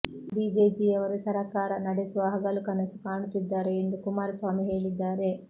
ಬಿಜೆಜಿಯವರು ಸರಕಾರ ನಡೆಸುವ ಹಗಲು ಕನಸು ಕಾಣುತ್ತಿದ್ದಾರೆ ಎಂದು ಕುಮಾರಸ್ವಾಮಿ ಹೇಳಿದ್ದಾರೆ